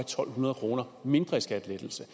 to hundrede kroner mindre i skattelettelse